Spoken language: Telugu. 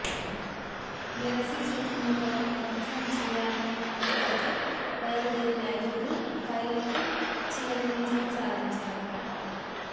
వెరసి శత్రుమూకలను ధ్వంసం చేయాలనే పట్టుదలతో బయలు దేరిన అయిదుగురు పైలట్లు చివరికి విజయం సాధించారు